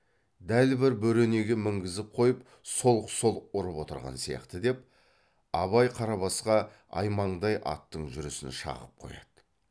дәл бір бөренеге мінгізіп қойып солқ солқ ұрып отырған сияқты деп абай қарабасқа аймаңдай аттың жүрісін шағып қояды